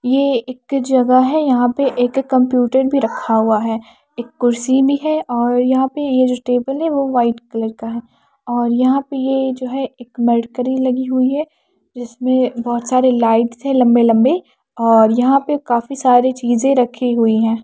ये एक जगह है यहां पे एक कंप्यूटर भी रखा हुआ है एक कुर्सी भी है और यहां पे ये जो टेबल है वो वाइट कलर का है और यहां पे ये जो है एक मरकरी लगी हुई है जिसमें बहोत सारे लाइट्स है लंबे लंबे और यहां पे काफी सारे चीजें रखी हुई है।